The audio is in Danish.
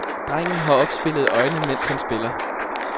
Drengen har opspilede øjne, mens han spiller.